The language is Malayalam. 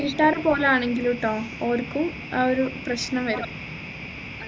വീട്ടുകാർ പോലും ആണെങ്കിലും ട്ടോ ഓർക്കും ആ ഒരു പ്രശ്നം വരും